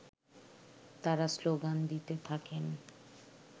তারা শ্লোগান দিতে থাকেন